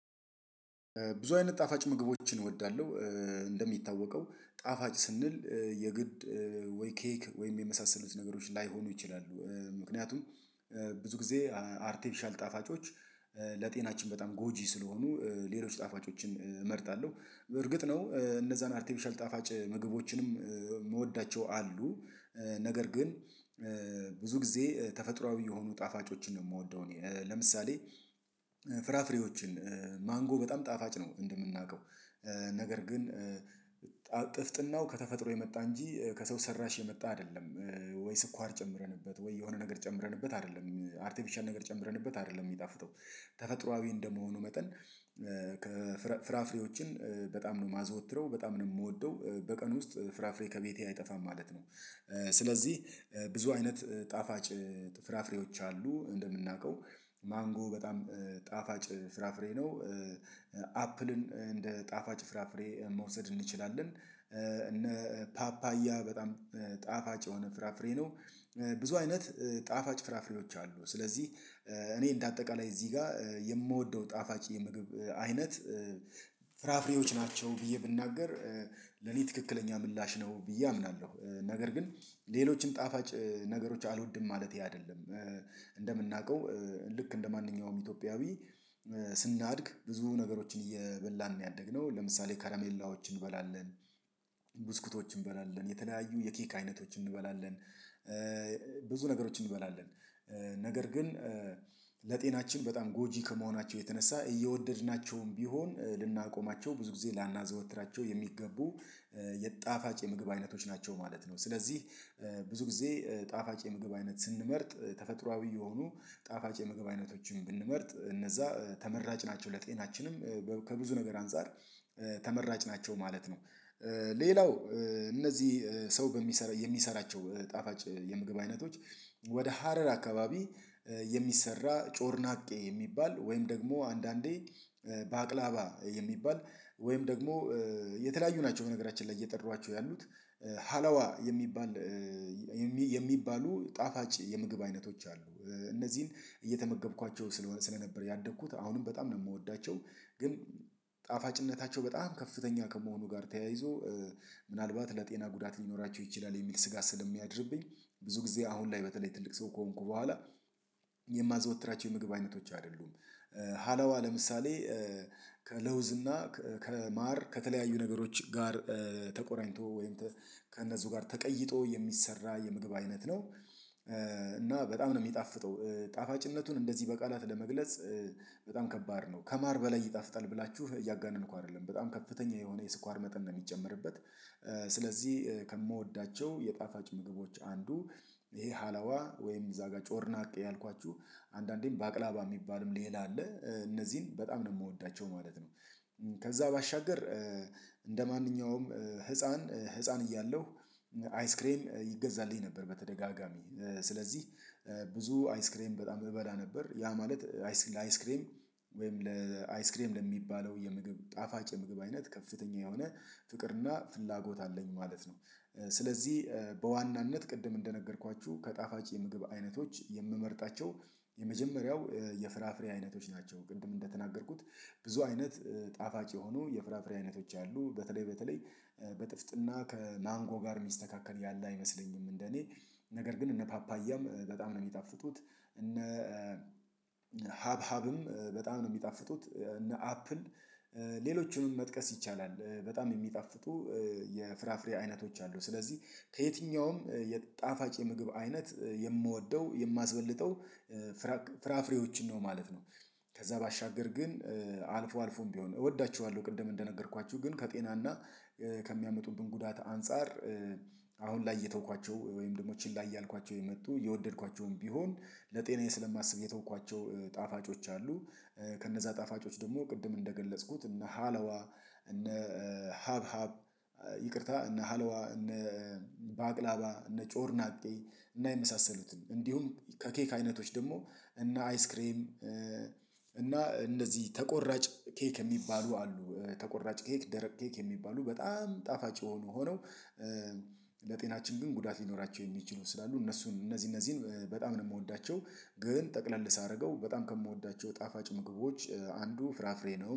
ብዙ አይነት ጣፋጭ ምግቦችን እወዳለሁ። እንደሚታወቀው ጣፋጭ ስንል የግድ ወይ ኬክ ወይም የመሳሰሉት ነገሮች ላይሆኑ ይችላሉ። ምክንያቱም ብዙ ጊዜ አርቴፊሻል ጣፋጮች ለጤናችን በጣም ጎጂ ስለሆኑ ሌሎች ጣፋጮችን እመርጣለሁ። እርግጥ ነው እነዛን አርቲፍሻል ጣፋጭ ምግቦችንም ምወዳቸው አሉ። ነገር ግን ብዙ ጊዜ ተፈጥሮአዊ የሆኑ ጣፋጮችን ነው የምወደው እኔ። ለምሳሌ ፍራፍሬዎችን ማንጎ በጣም ጣፋጭ ነው እንደምናውቀው ነገር ግን ጥፍጥናው ከተፈጥሮ የመጣ እንጂ ከሰው ሰራሽ የመጣ አይደለም። ወይ ስኳር ጨምረንበት ወይ የሆነ ነገር ጨምረንበት አይደለም አርቲፊሻል ነገር ጨምረንበት አይደለም የሚጣፍጠው ተፈጥሮአዊ እንደመሆኑ መጠን። ፍራፍሬዎችን በጣም ነው የማዘወትረው በጣም ነው የምወደው በቀን ውስጥ ፍራፍሬ ከቤቴ አይጠፋም ማለት ነው። ስለዚህ ብዙ አይነት ጣፋጭ ፍራፍሬዎች አሉ እንደምናውቀው ማንጎ በጣም ጣፋጭ ፍራፍሬ ነው። አፕልን እንደ ጣፋጭ ፍራፍሬ መውሰድ እንችላለን እነ ፓፓያ በጣም ጣፋጭ የሆነ ፍራፍሬ ነው። ብዙ አይነት ጣፋጭ ፍራፍሬዎች አሉ ስለዚህ እኔ እንደ አጠቃላይ እዚህ ጋር የምወደው ጣፋጭ የምግብ አይነት ፍራፍሬዎች ናቸው። ብዬ ብናገር ለኔ ትክክለኛ ምላሽ ነው ብዬ አምናለሁ። ነገር ግን ሌሎች ጣፋጭ ነገሮች አልወድም ማለቴ አይደለም። እንደምናውቀው ልክ እንደማንኛውም ኢትዮጵያዊ ስናድግ ብዙ ነገሮችን እየበላን ነው ያደግነው ለምሳሌ ከራሜላዎች እንበላለን። ብስኩቶች እንበላለን የተለያዩ የኬክ አይነቶች እንበላለን። ብዙ ነገሮችን እንበላለን። ነገር ግን ለጤናችን በጣም ጎጂ ከመሆናቸው የተነሳ እየወደድናቸውም ቢሆን ልናቆማቸው ብዙ ጊዜ ላናዘወትራቸው የሚገቡ የጣፋጭ የምግብ አይነቶች ናቸው ማለት ነው። ስለዚህ ብዙ ጊዜ ጣፋጭ የምግብ አይነት ስንመርጥ ተፈጥሮአዊ የሆኑ ጣፋጭ የምግብ አይነቶችን ብንመርጥ እነዛ ተመራጭ ናቸው ለጤናችንም ከብዙ ነገር አንፃር ተመራጭ ናቸው ማለት ነው። ሌላው እነዚህ ሰው በሚሰራ የሚሰራቸው ጣፋጭ የምግብ አይነቶች ወደ ሀረር አካባቢ የሚሰራ ጮርናቄ የሚባል ወይም ደግሞ አንዳንዴ ባቅላባ የሚባል ወይም ደግሞ የተለያዩ ናቸው በነገራችን ላይ እየጠሯኋቸው ያሉት ሀላዋ የሚባል የሚባሉ ጣፋጭ የምግብ አይነቶች አሉ። እነዚህን እየተመገብኳቸው ስለነበር ያደግኩት አሁንም በጣም ነው የምወዳቸው። ግን ጣፋጭነታቸው በጣም ከፍተኛ ከመሆኑ ጋር ተያይዞ ምናልባት ለጤና ጉዳት ሊኖራቸው ይችላል የሚል ስጋት ስለሚያድርብኝ ብዙ ጊዜ አሁን ላይ በተለይ ትልቅ ሰው ከሆንኩ ቦኋላ የማዘወትራቸው የምግብ አይነቶች አይደሉም። ሀላዋ ለምሳሌ ከለውዝ እና ከማር ከተለያዩ ነገሮች ጋር ተቆራኝቶ ወይም ከእነሱ ጋር ተቀይጦ የሚሰራ የምግብ አይነት ነው። እና በጣም ነው የሚጣፍጠው ጣፋጭነቱን እንደዚህ በቃላት ለመግለጽ በጣም ከባድ ነው ከማር በላይ ይጣፍጣል ብላችሁ እያጋነንኩ አይደለም በጣም ከፍተኛ የሆነ የስኳር መጠን ነው የሚጨመርበት። ስለዚህ ከምወዳቸው የጣፋጭ ምግቦች አንዱ ይሄ ሀላዋ ወይም እዛ ጋር ጮርናቅ ያልኳችሁ አንዳንዴም ባቅላባ የሚባልም ሌላ አለ እነዚህን በጣም ነው የምወዳቸው ማለት ነው። ከዛ ባሻገር እንደማንኛውም ህፃን ህፃን እያለሁ አይስክሬም ይገዛልኝ ነበር በተደጋጋሚ ስለዚህ ብዙ አይስክሬም በጣም እበላ ነበር ያ ማለት ለአይስክሬም ወይም ለአይስክሬም ለሚባለው የምግብ ጣፋጭ የምግብ አይነት ከፍተኛ የሆነ ፍቅርና ፍላጎት አለኝ ማለት ነው። ስለዚህ በዋናነት ቅድም እንደነገርኳችሁ ከጣፋጭ የምግብ አይነቶች የምመርጣቸው የመጀመሪያው የፍራፍሬ አይነቶች ናቸው። ቅድም እንደተናገርኩት ብዙ አይነት ጣፋጭ የሆኑ የፍራፍሬ አይነቶች አሉ በተለይ በተለይ በጥፍጥና ከማንጎ ጋር የሚስተካከል ያለ አይመስለኝም። እንደኔ ነገር ግን እነ ፓፓያም በጣም ነው የሚጣፍጡት እነ ሀብ ሀብም በጣም ነው የሚጣፍጡት። እነ አፕል ሌሎቹንም መጥቀስ ይቻላል። በጣም የሚጣፍጡ የፍራፍሬ አይነቶች አሉ ስለዚህ ከየትኛውም የጣፋጭ የምግብ አይነት የምወደው የማስበልጠው ፍራፍሬዎችን ነው ማለት ነው። ከዛ ባሻገር ግን አልፎ አልፎም ቢሆን እወዳችኋለሁ ቅድም እንደነገርኳችሁ ግን ከጤናና ከሚያመጡብን ጉዳት አንፃር አሁን ላይ እየተውኳቸው ወይም ደግሞ ችላ እያልኳቸው የመጡ የወደድኳቸውም ቢሆን ለጤናዬ ስለማስብ የተውኳቸው ጣፋጮች አሉ። ከነዛ ጣፋጮች ደግሞ ቅድም እንደገለጽኩት እና ሃለዋ እነ ሀብ ሀብ ይቅርታ እነ ሃለዋ እነ ባቅላባ እነ ጮር ናቄ እና የመሳሰሉትን እንዲሁም ከኬክ አይነቶች ደግሞ እነ አይስክሬም እና እንደዚህ ተቆራጭ ኬክ የሚባሉ አሉ። ተቆራጭ ኬክ ደረቅ ኬክ የሚባሉ በጣም ጣፋጭ ሆኖ ሆነው ለጤናችን ግን ጉዳት ሊኖራቸው የሚችሉ ስላሉ እነሱን እነዚህ እነዚህን በጣም ነው የምወዳቸው። ግን ጠቅለል ሳደርገው በጣም ከምወዳቸው ጣፋጭ ምግቦች አንዱ ፍራፍሬ ነው